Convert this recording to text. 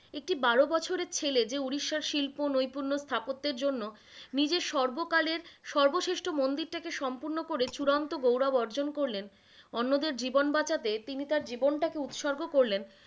একটি বারো বছরের ছেলে যে উড়িষ্যার শিল্প, নৈপুণ্য, স্থাপত্যের জন্য, নিজের সর্বকালের সর্বশ্রেষ্ঠ মন্দিরটাকে সম্পূর্ণ করে চুরান্ত গৌরব অর্জন করলেন, অন্যদের জীবন বাঁচাতে তিনি তার জীবন টা উৎসর্গ করলেন,